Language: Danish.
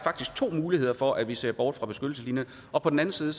to muligheder for at vi ser bort fra beskyttelseslinjen og på den anden side